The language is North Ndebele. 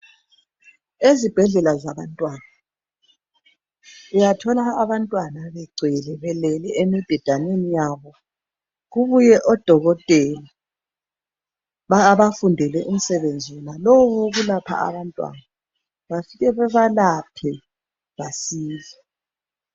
Ezibhedlela zabantwana uyathola abantwana begcwele belele emibhedaneni yabo. Kubuye odokotela abafundele umsebenzi wonalowu owokulapha abantwana. Bafike bebalaphe basile.